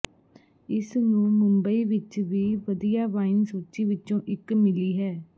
ਇਸ ਨੂੰ ਮੁੰਬਈ ਵਿਚ ਵੀ ਵਧੀਆ ਵਾਈਨ ਸੂਚੀ ਵਿਚੋਂ ਇਕ ਮਿਲੀ ਹੈ